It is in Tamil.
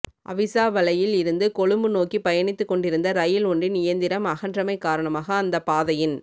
அவிசாவளையில் இருந்து கொழும்பு நோக்கி பயணித்து கொண்டிருந்த ரயில் ஒன்றின் இயந்திரம் அகன்றமை காரணமாக அந்த பாதையின்